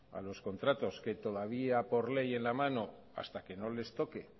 a los contratos que todavía por ley en la mano hasta que no les toque